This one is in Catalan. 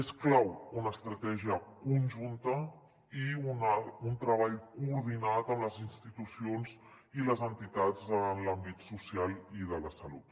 és clau una estratègia conjunta i un treball coordinat amb les institucions i les entitats en els àmbits social i de la salut